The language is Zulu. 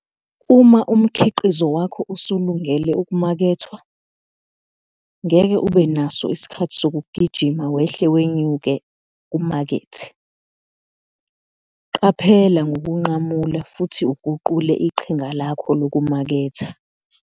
Uma umkhiqizo wakho usulungele ukumakethwa, ngeke ube naso isikhathi sokuqijima wehle wenyuke umakethe. Qaphela ngokunqamula futhi uguqule iqhinga lakho lokumaketha.